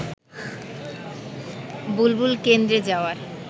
বুলবুল কেন্দ্রে যাওয়ার